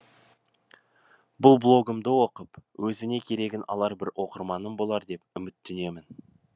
бұл блогымды оқып өзіне керегін алар бір оқырманым болар деп үміттенемін